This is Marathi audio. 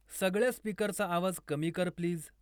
सगळ्या स्पीकरचा आवाज कमी कर प्लीज